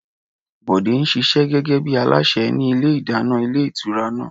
Bọ̀dé ń ṣiṣẹ́ gẹ́gẹ́ bí alásè ní ilé ìdáná ilé ìtura náà